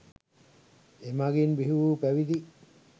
එමඟින් බිහිවූ පැවිදි,